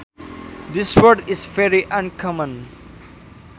This word is very uncommon